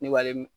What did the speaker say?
Ne b'ale